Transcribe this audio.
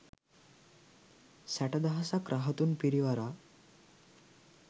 සැටදහසක් රහතුන් පිරිවරා